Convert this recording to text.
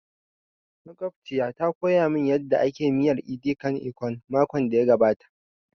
Makwabciya ta koya mun yanda ake miyar edi kan ikong makon da ya gabata